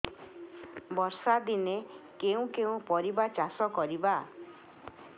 ବର୍ଷା ଦିନରେ କେଉଁ କେଉଁ ପରିବା ଚାଷ କରିବା